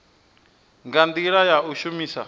nga ndila ya u shumisa